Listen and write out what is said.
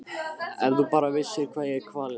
Ef þú bara vissir hvað ég er kvalinn.